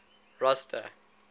rosta